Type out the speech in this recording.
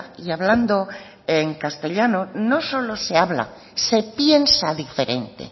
y hablando en castellano no solo se habla se piensa diferente